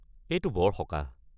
এইটো বৰ সকাহ।